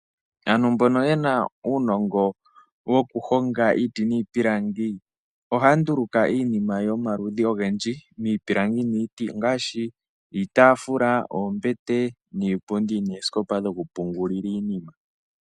Aantu mbono yena uunongo woku honga iiti niipilangi ohaya nduluka iinima yomaludhi ogendji, miipilangi niiti ongaashi, iitafula, oombete, niipundi, noosikopa dhoku pungulila iinima.